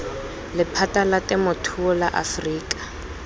lephata la temothuo la aforika